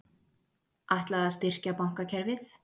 Ætlað að styrkja bankakerfið